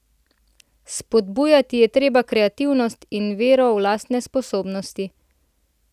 Spodbujati je treba kreativnost in vero v lastne sposobnosti.